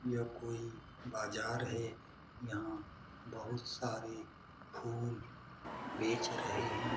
यह कोई बाजार है। यहां बहुत सारे फूल बेच रहे है।